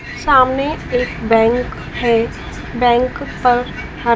सामने एक बैंक है बैंक पर ह--